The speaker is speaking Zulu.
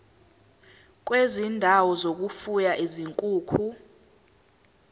kwezindawo zokufuya izinkukhu